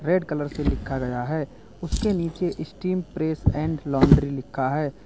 Red colour से लिखा गया है उसके नीचे स्टीम प्रेस एंड लाउंड्री लिखा है।